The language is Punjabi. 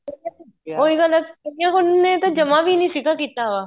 ਉਹ ਗੱਲ ਏ ਉਹਨੇ ਤਾਂ ਜਮਾਂ ਵੀ ਨਹੀਂ ਕੀਤਾ ਵਾ